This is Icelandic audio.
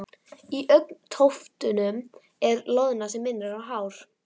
Í augntóftunum er loðna sem minnir á hár.